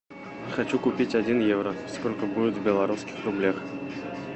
хочу купить один евро сколько будет в белорусских рублях